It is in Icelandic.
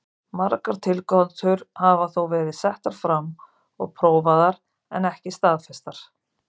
Margar tilgátur hafa þó verið settar fram og prófaðar en ekki staðfestar.